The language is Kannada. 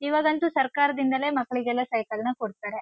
ಇವಾಗಂತೂ ಸರ್ಕಾರದಿಂದಲೇ ಮಕ್ಕಳಿಗೆಲ್ಲ ಸೈಕಲ್ ನ ಕೊಡ್ತಾರೆ.